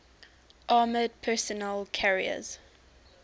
armored personnel carriers